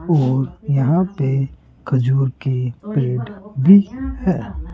और यहां पे खजूर के पेड़ भी हैं।